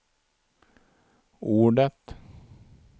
ordet